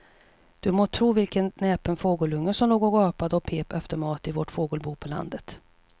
Du må tro vilken näpen fågelunge som låg och gapade och pep efter mat i vårt fågelbo på landet.